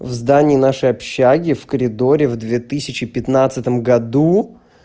в здании нашего общежития в коридоре в две тысячи пятнадцатом году